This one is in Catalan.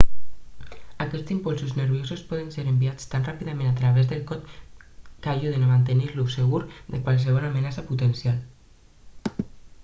aquests impulsos nerviosos poden ser enviats tan ràpidament a través del cos que ajuden a mantenir-lo segur de qualsevol amenaça potencial